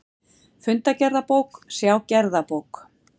Fundagerðabók, sjá gerðabók